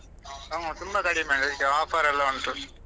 ನಮ್ಮ ತುಂಬಾ ಕಡಿಮೆ ಅಲ್ಲ ಈಗ offer ಎಲ್ಲ ಉಂಟು.